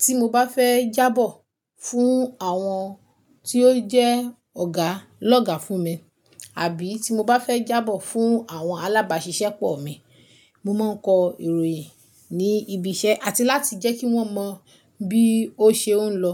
tí mo bá fẹ́ jábọ̀ fún àwọn tí ó jẹ́ ọ̀gá lọ́gá fún mi, àbí tí mo bá fẹ́ jábọ̀ fún àwọn alábáṣiṣẹ́pọ̀ mi. Mo má ń kọ ìròyìn ní ibi iṣẹ́ àti láti jẹ́ kí wọ́n mọ bí ó ṣe ń lọ.